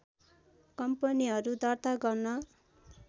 कम्पनीहरु दर्ता गर्न